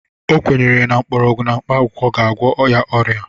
O kwenyere na mgbọrgwụ na mkpakwụkwọ ga-agwọ ya ọrịa.